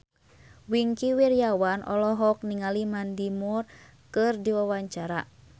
Wingky Wiryawan olohok ningali Mandy Moore keur diwawancara